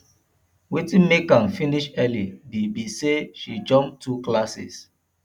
wetin make am finish early be be say she jump two classes